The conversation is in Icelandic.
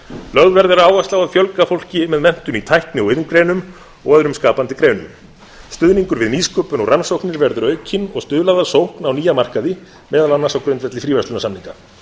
lögð verður áhersla á að fjölga fólki með menntun í tækni og iðngreinum og öðrum skapandi greinum stuðningur við nýsköpun og rannsóknir verður aukinn og stuðlað að sókn á nýja markaði meðal annars á grundvelli fríverslunarsamninga